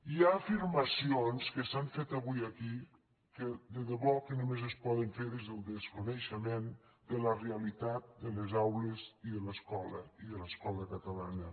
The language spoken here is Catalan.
hi ha afirmacions que s’han fet avui aquí que de debò que només es poden fer des del desconeixement de la realitat de les aules i de l’escola i de l’escola catalana